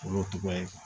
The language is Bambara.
Olu tɔgɔ ye